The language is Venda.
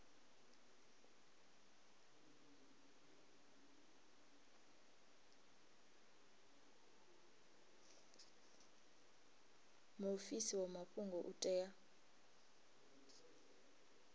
muofisi wa mafhungo u tea